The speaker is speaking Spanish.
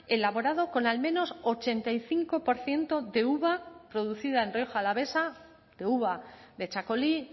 elaborado con al menos ochenta y cinco por ciento de uva producida en rioja alavesa de uva de txakoli